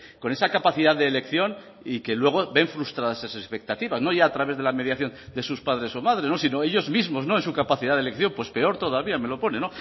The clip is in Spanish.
con esa capacidad de elección y que luego ven frustradas esas expectativas no ya a través de la mediación de sus padres o madres sino ellos mismos en su capacidad de elección pues peor todavía me lo pone